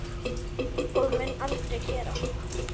Og mun aldrei gera.